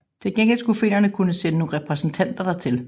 Til gengæld skulle finnerne kunne sende nogle repræsentanter dertil